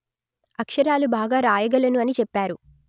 అక్షరాలు బాగా రాయగలను అని చెప్పారు